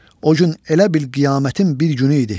O gün elə bil qiyamətin bir günü idi.